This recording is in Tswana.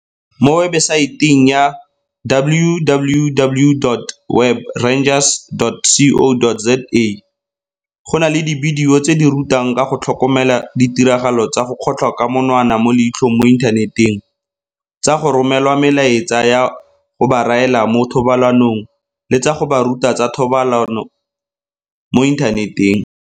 Mo webesaeteng ya www.webrangers.co.za go na le dibidio tse di ba rutang ka go tlhokomela ditiragalo tsa go kgotlhwa ka monwana mo leitlhong mo inthaneteng, tsa go romelwa melaetsa ya go ba raela mo thobalanong le tsa go ba ruta tsa thobalano mo inthaneteng.